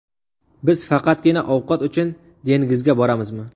Biz faqatgina ovqat uchun dengizga boramizmi?